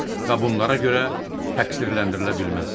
və bunlara görə təqsirləndirilə bilməz.